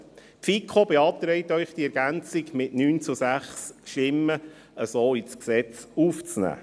Die FiKo beantragt Ihnen, diese Ergänzung ins Gesetz aufzunehmen.